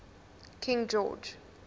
king george